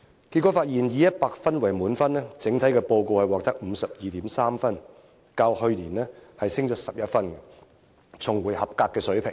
結果發現，以100分為滿分，整體報告獲得 52.3 分，較去年上升11分，重回合格水平。